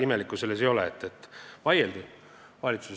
Selles ei ole midagi imelikku.